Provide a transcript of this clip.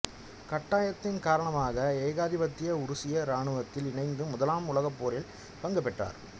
கட்டாயத்தின் காரணமாக ஏகாதிபத்திய உருசிய இராணுவத்தில் இணைந்து முதலாம் உலகப் போரில் பங்கு பெற்றார்